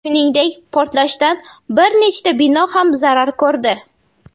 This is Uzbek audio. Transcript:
Shuningdek, portlashdan bir nechta bino ham zarar ko‘rdi.